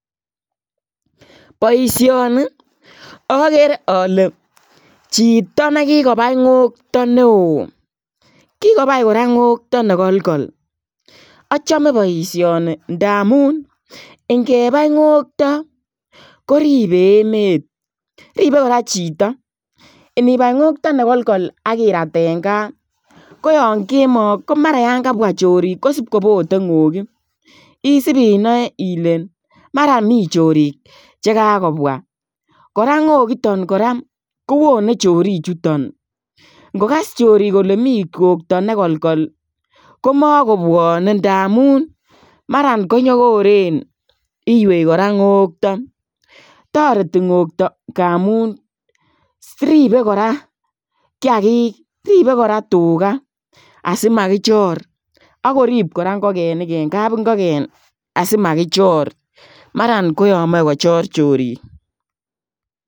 Boisioni agere ale chitoo nekikobai ngoktoi ne wooh kikobai kora ngoktoi ne kokol achame boisioni ndamuun ingebai ngoktoi ko ribe emeet ribe kora chitoo inibai ngoktoi ne kokol akiraay en gaah ko yaan kemoi ko mara kobwaah choriik kosipkobote ngokii isipinae Ile mara mii choriik che kakogobwa kora nggokitaan kora kowonei choriik chutoon ingogas chorik kole miten yutoon ngoktoi ne kokol ko makobwane ndamuun maran ko nyogoreen inyei akoot ngoktoi taretii ngoktoi ndamuun ribe kora kiagik tuga asimakichor akoriib kora ingogenik en kapingogeen asimakichor mara ko yaan machei kochor choriik.